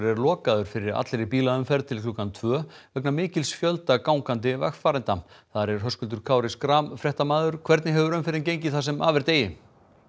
er lokaður fyrir allri bílaumferð til klukkan tvö vegna mikils fjölda gangandi vegfarenda þar er Höskuldur Kári Schram fréttamaður hvernig hefur umferðin gengið það sem af er degi